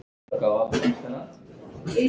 Ekki spyrja að neinu!